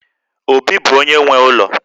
Obi bụ onye nwe ụlọ